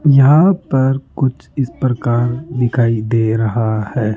यहां पर कुछ इस प्रकार दिखाई दे रहा है।